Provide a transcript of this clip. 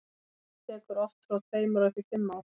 meðferð tekur oft frá tveimur og upp í fimm ár